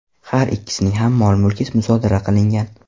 Har ikkisining ham mol-mulki musodara qilingan.